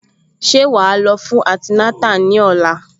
Ṣé wàá lọ fún antinátà ní òla?